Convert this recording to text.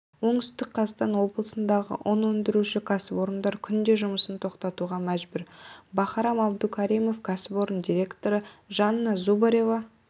оңтүстік қазақстан облысындағы ұн өндіруші кәсіпорындар күнде жұмысын тоқтатуға мәжбүр бахарам абдукаримов кәсіпорын директоры жанна зубарева